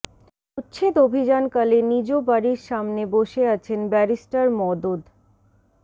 উচ্ছেদ অভিযানকালে নিজ বাড়ির সামনে বসে আছেন ব্যারিস্টার মওদুদ